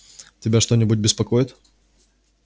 тебя что-нибудь беспокоит